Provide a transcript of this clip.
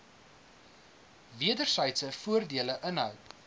wedersydse voordele inhou